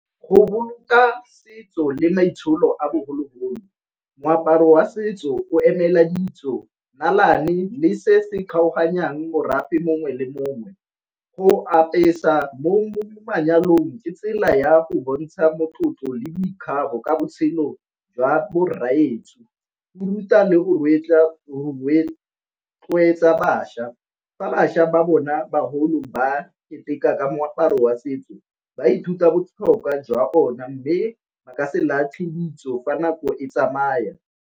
Go boloka setso le maitsholo a bogologolo moaparo wa setso o emela ditso, le se se kgaoganyang morafe mongwe le mongwe. Go apesa mo manyalong ke tsela ya go bontsha tlotlo le boikgabo ka botshelo jwa bo rraetsho. Bo ruta le go rotloetsa bašwa fa bašwa ba bona bagolo ba keteka ka moaparo wa setso ba ithuta botlhokwa jwa o na mme ba ka se latle ditso fa nako e tsamaya.